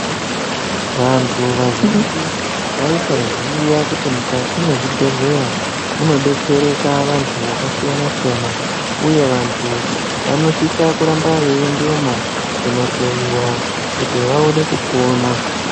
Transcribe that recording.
Vantu vazhinji vaisaziya kuti mukati mwezvibhehleya munodetsereka vantu yakasiyana siyana uye vantu vanosisa kuramba veiendemwo kunohloiwa kuti vaone kupona.